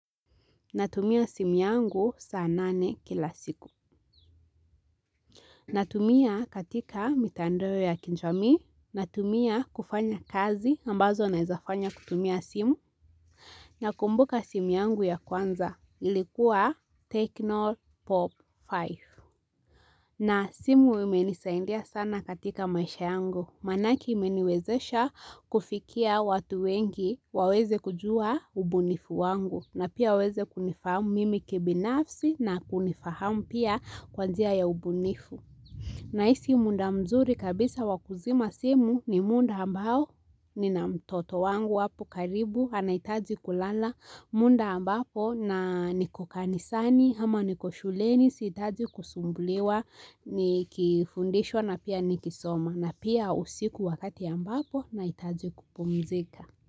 Natumia simu yangu saa nane kila siku. Natumia katika mitandao ya kijamii. Natumia kufanya kazi ambazo naeza fanya kutumia simu. Nakumbuka simu yangu ya kwanza ilikuwa ''Techno pop 5''. Na simu imenisaidia sana katika maisha yangu. Manake imeniwezesha kufikia watu wengi waweze kujua ubunifu wangu. Na pia waweze kunifahamu mimi kibinafsi na kunifahamu pia kwa njia ya ubunifu. Nahisi muda mzuri kabisa wa kuzima simu ni muda ambao nina mtoto wangu apo karibu anaitaji kulala muda ambapo na niko kanisani ama niko shuleni sihitaji kusumbuliwa nikifundishwa na pia nikisoma na pia usiku wakati ambapo nahitaji kupumzika.